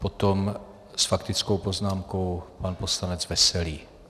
Potom s faktickou poznámkou pan poslanec Veselý.